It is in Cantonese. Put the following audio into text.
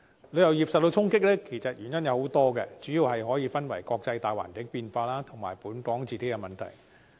旅遊業受到衝擊的原因很多，主要是國際大環境變化及本港的問題。